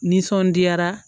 Nisɔndiyara